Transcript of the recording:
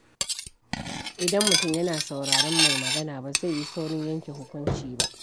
Idan mutum yana sauraron mai magana, ba zai yi saurin yanke hukunci ba.